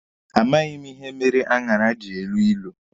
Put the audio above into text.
A maghị m ihe mere aṅara ji elu ilu.